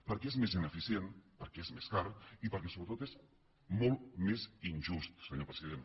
perquè és més ineficient perquè és més car i perquè sobretot és molt més injust senyor president